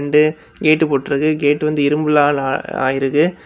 இது கேட் போட்டு இருக்குது கேட் வந்து இரும்புனாள ஆயிருக்கு.